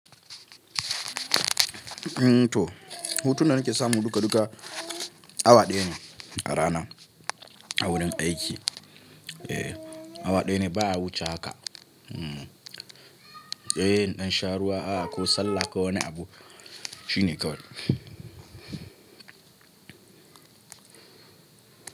To, hutun da nake samu duka duka awa ɗaya ne a rana a wurin aiki. E, awa ɗaya ne ba wuce haka. E, ɗan sharuwa aka salla kawai ne abu shine kawai.